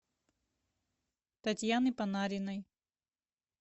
татьяны панариной